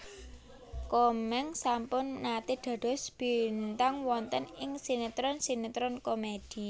Komeng sampun nate dados bintang wonten ing sinetron sinetron komedi